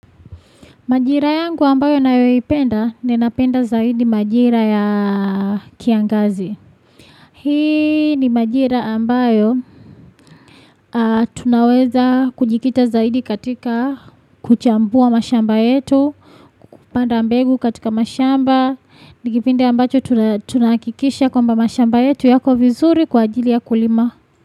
Majira yangu ambayo ninayoipenda, ninapenda zaidi majira ya kiangazi. Hii ni majira ambayo tunaweza kujikita zaidi katika kuchambua mashamba yetu, kupanda mbegu katika mashamba, ni kipindi ambacho tunahakikisha kwamba mashamba yetu yako vizuri kwa ajili ya kulima.